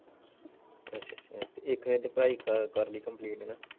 ਅੱਛਾ ਅੱਛਾ ਇਕ ਨੇ ਤੇ ਪੜ੍ਹਾਈ ਕਰਲੀ ਕੰਪਲਿਟ ਹਣਾ?